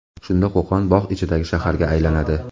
Shunda Qo‘qon bog‘ ichidagi shaharga aylanadi.